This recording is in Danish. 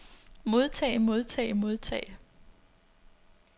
modtage modtage modtage